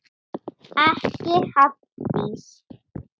Ekki Halldís